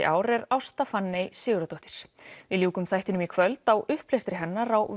ár er Ásta Fanney Sigurðardóttir við ljúkum þættinum í kvöld á upplestri hennar á